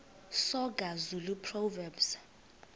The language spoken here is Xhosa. soga zulu proverbs